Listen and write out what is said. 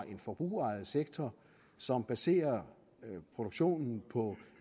en forbrugerejet sektor som baserer produktionen på